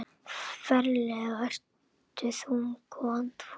Ferlega ertu þung og andfúl.